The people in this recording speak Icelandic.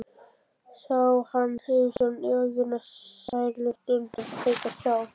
Sá hann yfirsjón ævinnar, sælustundirnar þeytast hjá?